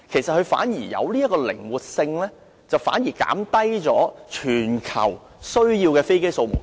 這樣反而有靈活性，減低全球所需的飛機總數。